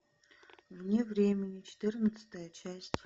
вне времени четырнадцатая часть